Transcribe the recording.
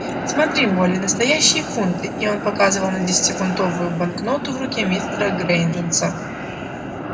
смотри молли настоящие фунты и он показывал на десятифунтовую банкноту в руке мистера грэйндженса